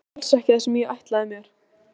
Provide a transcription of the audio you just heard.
Þetta er alls ekki það sem ég ætlaði mér.